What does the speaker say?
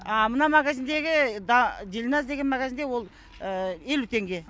а мына магазиндегі дильназ деген магазанде ол елу теңге